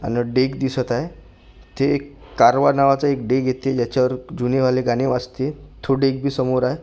मला डेक दिसत आहे इथे एक कारवा नावाचं एक डेक इथे ज्याच्यावर जुने वाले गाणे वाजती तो डेक बी समोर आहे.